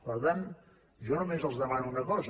per tant jo només els demano una cosa